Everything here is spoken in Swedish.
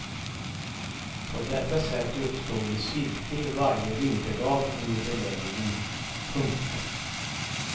På detta sätt uppstod en cirkel varje vinterdag under belägringen. punkt